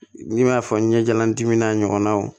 N'i m'a fɔ ɲɛjalan dimi n'a ɲɔgɔnnaw